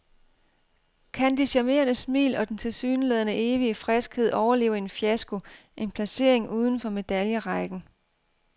Kan de charmerende smil og den tilsyneladende evige friskhed overleve en fiasko, en placering uden for medaljerækken?